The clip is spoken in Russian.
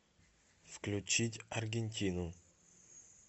включить аргентину